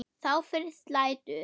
Þá fyrst lætur